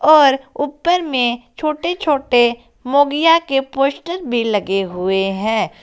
और ऊपर में छोटे छोटे मोंगिया के पोस्टर भी लगे हुए हैं।